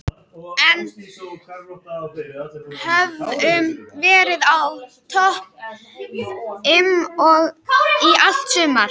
En við höfum verið í topp fimm í allt sumar.